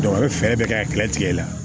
a bɛ fɛɛrɛ bɛɛ kɛ a tigɛ tigɛ la